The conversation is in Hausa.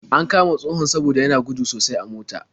An kama tsohon saboda yana gudu sosai a mota.